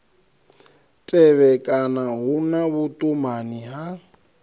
tevhekana hu na vhuṱumani ha